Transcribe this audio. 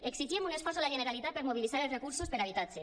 exigim un esforç a la generalitat per mobilitzar els recursos per a habitatge